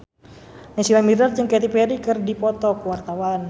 Naysila Mirdad jeung Katy Perry keur dipoto ku wartawan